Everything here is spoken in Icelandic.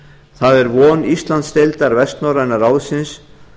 það er von íslandsdeildar vestnorræna ráðsins